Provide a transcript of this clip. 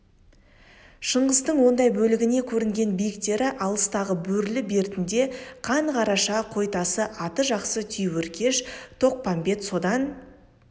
шыңғыстың сондай бөліне көрінген биіктері алыстағы бөрлі бертінде қан қараша қойтасы аты жақсы түйеөркеш тоқпамбет содан